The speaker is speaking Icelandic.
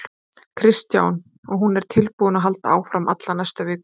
Kristján: Og hún er tilbúin að halda áfram alla næstu viku?